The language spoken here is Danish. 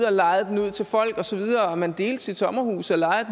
og lejede den ud til folk og at man delte sit sommerhus og lejede